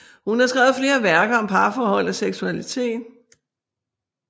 Hun har skrevet flere værker om parforhold og seksualitet